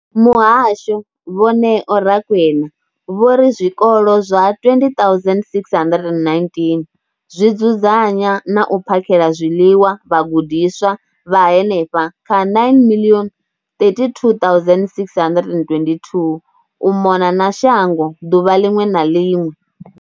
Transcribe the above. Muhasho, vho Neo Rakwena, vho ri zwikolo zwa 20 619 zwi dzudzanya na u phakhela zwiḽiwa vhagudiswa vha henefha kha 9 032 622 u mona na shango ḓuvha ḽiṅwe na ḽiṅwe.